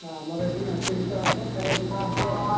ଆମର ଏଠି ନାଚଗୀତ ହବ ଖାଇବା ପିଇବା ହବ ଆଉ।